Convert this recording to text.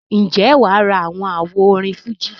ǹjẹ́ wà á ra àwọn àwo orin fújì?